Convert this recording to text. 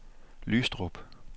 Lystrup